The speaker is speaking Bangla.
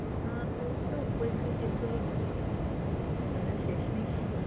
আহ এই তো পরীক্ষা শেষ হল। ঝামেলা শেষমেশ